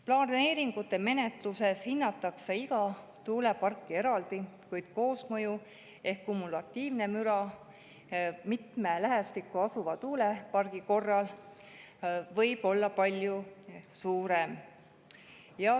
Planeeringute menetluses hinnatakse iga tuuleparki eraldi, kuid koosmõju ehk kumulatiivne müra mitme lähestikku asuva tuulepargi korral võib olla palju suurem.